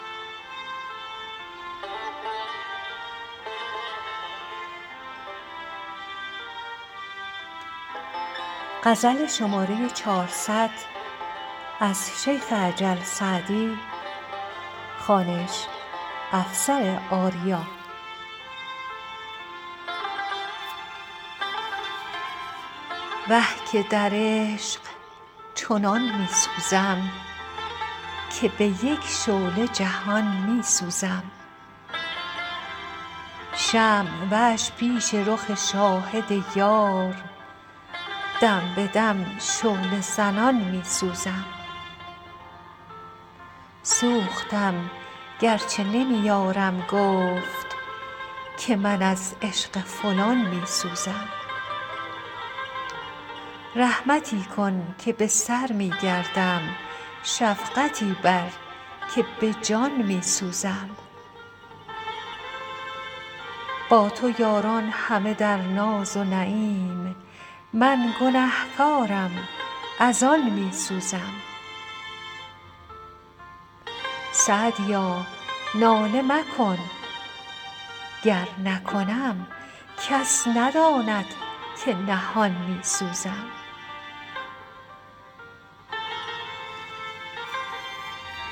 وه که در عشق چنان می سوزم که به یک شعله جهان می سوزم شمع وش پیش رخ شاهد یار دم به دم شعله زنان می سوزم سوختم گر چه نمی یارم گفت که من از عشق فلان می سوزم رحمتی کن که به سر می گردم شفقتی بر که به جان می سوزم با تو یاران همه در ناز و نعیم من گنه کارم از آن می سوزم سعدیا ناله مکن گر نکنم کس نداند که نهان می سوزم